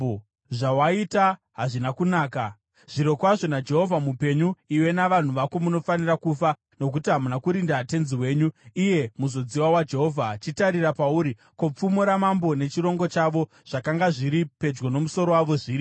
Zvawaita hazvina kunaka. Zvirokwazvo naJehovha mupenyu, iwe navanhu vako munofanira kufa, nokuti hamuna kurinda tenzi wenyu, iye muzodziwa waJehovha. Chitarira pauri. Ko, pfumo ramambo nechirongo chavo zvakanga zviri pedyo nomusoro wavo zviripi?”